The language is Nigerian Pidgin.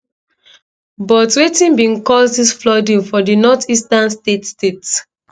but wetin bin cause dis flooding for di northeastern state state